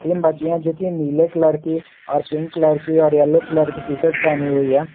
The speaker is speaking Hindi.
तीन बच्चिया जोकि नीले कलर की और पिंक कलर की और यलो टी शर्ट पहनी हुई है।